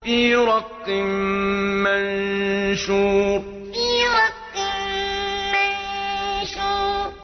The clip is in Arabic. فِي رَقٍّ مَّنشُورٍ فِي رَقٍّ مَّنشُورٍ